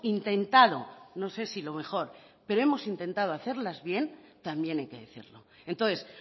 intentado no sé si lo mejor pero hemos intentado hacerlas bien también hay que decirlo entonces